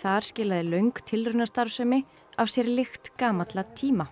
þar skilaði löng tilraunastarfsemi af sér lykt gamalla tíma